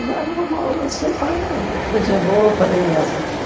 Era uma coisa boa para elas.